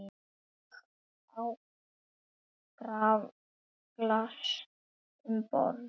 Ég át graflax um borð.